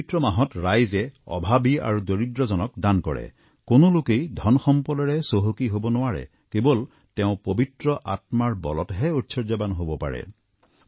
এই পবিত্ৰ মাহত ৰাইজে অভাৱী আৰু দৰিদ্ৰজনক দান কৰে কোনো লোকে ধন সম্পদেৰে চহকী হব নোৱাৰে কেৱল তেওঁ পবিত্ৰ আত্মাৰ বলতহে ঐশ্বৰ্যবান হব পাৰে